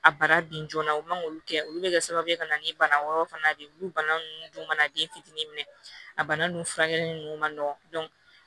A bara bin joona u man k'olu kɛ olu bɛ kɛ sababu ye ka na ni bana wɛrɛw fana de ye olu bana ninnu dun mana den fitini minɛ a bana nunnu furakɛli ninnu man nɔgɔ